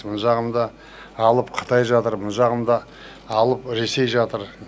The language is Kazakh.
мына жағында алып қытай жатыр мына жағында алып ресей жатыр